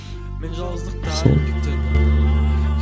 мен жалғыздықтан күтемін